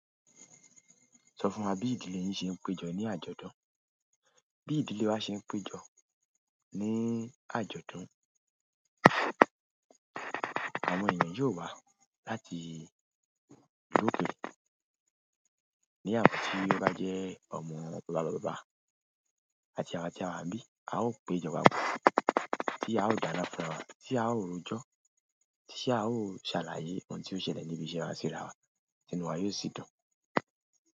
Sọ fún wa bí ìdílé yín ṣe ń pejọ ní àjọ̀dún. Bí ìdílé wa ṣe ń pejọ ní àjọ̀dún, àwọn èèyàn yóò wá láti ìlú òkèèrè. Ní àwọn tí ó bá jẹ́ ọmọ bàbá bàbá àti àwa tí a wà n bí, a ó péjọ papọ̀. Tí a ó dána fún rawa, tí a ó rojọ́, tí a ó ṣàlàyé ohun tí ó ṣẹlẹ̀ níbí iṣe wa síra wa, tìnu wà yóò ṣì dùn.